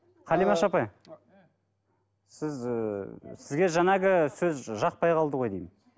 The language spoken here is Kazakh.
қалимаш апай м сіз ііі сізге жаңағы сөз жақпай қалды ғой деймін